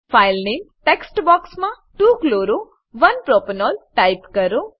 file નામે text બોક્સમાં 2 chloro 1 propanol type કરો